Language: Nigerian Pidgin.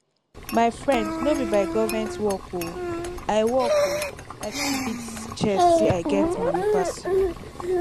my friend no be by government work oo i work oo i fit beat chest say i get money pass you